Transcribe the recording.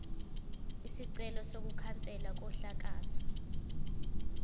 isicelo sokukhanselwa kokuhlakazwa